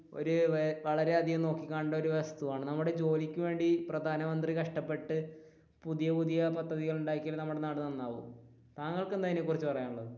ഒരു വളരെ അധികം നോക്കി കാണേണ്ട ഒരു വസ്തുവാണ് നമ്മുടെ ജോലിക്ക് വേണ്ടി പ്രധാനമന്ത്രി കഷ്ടപ്പെട്ട് പുതിയ പുതിയ പദ്ധതികൾ ഉണ്ടാക്കിയാലെ നമ്മുടെ നാട് നന്നാവൂ. താങ്കൾക്ക് എന്താണ് ഇതിനെ കുറിച്ച് പറയാനുള്ളത്?